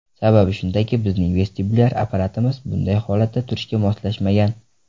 Sababi shundaki, bizning vestibulyar apparatimiz bunday holatda turishga moslashmagan.